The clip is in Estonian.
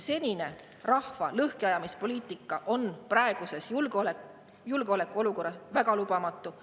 Senine rahva lõhkiajamise poliitika on praeguses julgeolekuolukorras lubamatu.